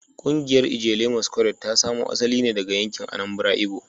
Kungiyar Ijele Masquerade ta samo asali ne daga yankin Anambra Igbo